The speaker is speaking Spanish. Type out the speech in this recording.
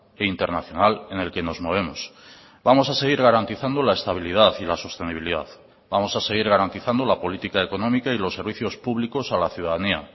e internacional en el que nos movemos vamos a seguir garantizando la estabilidad y la sostenibilidad vamos a seguir garantizando la política económica y los servicios públicos a la ciudadanía